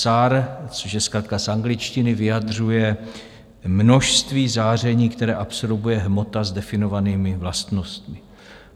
SAR, což je zkratka z angličtiny, vyjadřuje množství záření, které absorbuje hmota s definovanými vlastnostmi.